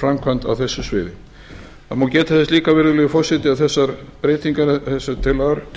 framkvæmd á þessu sviði það má geta þess líka virðulegi forseti að þessar